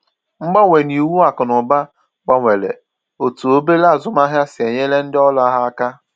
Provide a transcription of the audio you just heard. Mgbanwe n’iwu akụnụba gbanwere otú obere azụmahịa si e nyere ndị ọrụ ha aka.